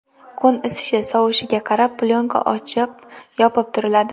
Kun isishi, sovishiga qarab plyonka ochib, yopib turiladi.